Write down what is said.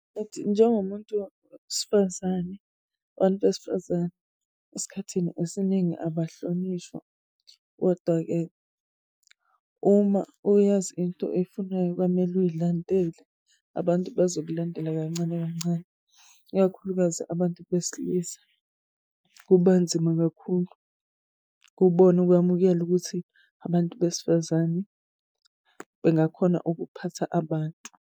njengomuntu wesifazane, abantu besifazane esikhathini esiningi abahlonishwa. Kodwa-ke uma uyazi into oyifunayo kwamele uyilandele abantu bazokulandela kancane kancane, ikakhulukazi abantu besilisa kuba nzima kakhulu kubona ukwamukela ukuthi abantu besifazane bengakhona ukuphatha abantu.